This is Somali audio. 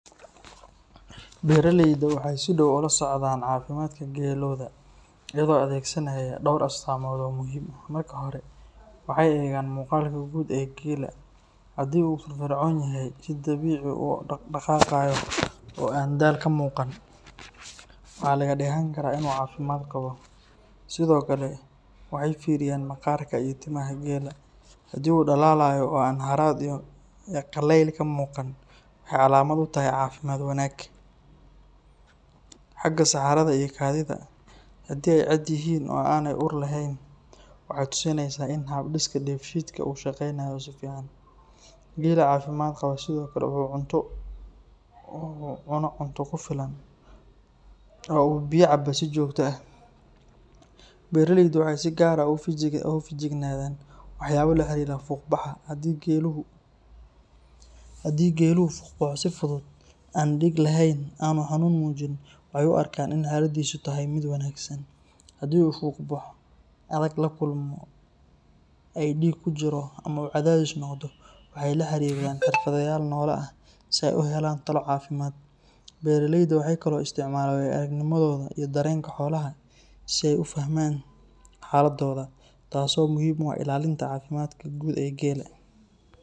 Beraleydu waxay si dhow ula socdaan caafimaadka geelooda iyagoo adeegsanaya dhowr astaamood oo muhim ah. Marka hore, waxay eegaan muuqaalka guud ee geela, haddii uu firfircoon yahay, si dabiici ah u dhaqaaqayo oo aan daal ka muuqan, waxaa laga dheehan karaa in uu caafimaad qabo. Sidoo kale, waxay fiiriyaan maqaarka iyo timaha geela, haddii uu dhalaalayo oo aan harraad iyo qallayl ka muuqan, waxay calaamad u tahay caafimaad wanaag. Xagga saxarada iyo kaadida, haddii ay caadi yihiin oo aanay ur xun lahayn, waxay tusinaysaa in hab-dhiska dheefshiidka uu shaqaynayo si fiican. Geela caafimaad qaba sidoo kale wuxuu cuno cunto ku filan oo uu biyo cabbaa si joogto ah. Beraleydu waxay si gaar ah uga feejignaadaan waxyaabo la xiriira fuqbaxa, haddii geeluhu fuqbaxo si fudud, aan dhiig lahayn, oo aanu xanuun muujin, waxay u arkaan in xaaladiisu tahay mid wanaagsan. Haddii uu fuqbaxo adag la kulmo, ay dhiig ku jiro, ama uu caajis noqdo, waxay la xiriiraan xirfadlayaal xoolaha si ay u helaan talo caafimaad. Beraleydu waxay kaloo isticmaalaan waayo-aragnimadooda iyo dareenka xoolaha si ay u fahmaan xaaladdooda, taasoo muhiim u ah ilaalinta caafimaadka guud ee geela.